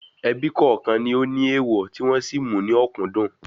Ebí kọ̀ọ̀kan ní ó ní èèwọ̀ tí wọn sì mú ní òkúńdùn